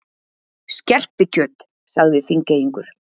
Skerpikjöt, sagði Þingeyingur.